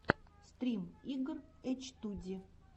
стрим игр эчтуди